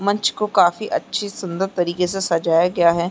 मंच को काफी अच्छेसुन्दर तरीके से सजाया गया है।